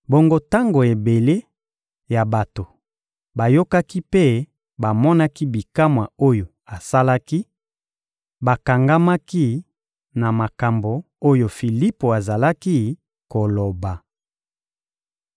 Bongo tango ebele ya bato bayokaki mpe bamonaki bikamwa oyo asalaki, bakangamaki na makambo oyo Filipo azalaki koloba.